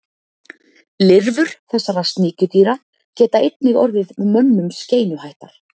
Lirfur þessara sníkjudýra geta einnig orðið mönnum skeinuhættar.